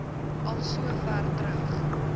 al sover terug